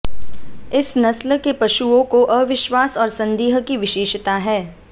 इस नस्ल के पशुओं को अविश्वास और संदेह की विशेषता है